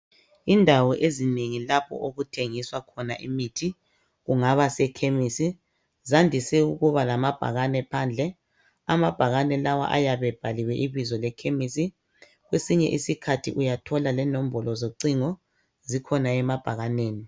Indawo ezinengi lapho okuthengiswa khona imithi kungaba sekhemisi zandise ukuba lamabhakane phandle. Amabhakane lawa ayabe ebhaliwe ibizo lekhemisi. Kwesinye isikhathi uyathola lenombolo zocingo zikhona emabhakaneni.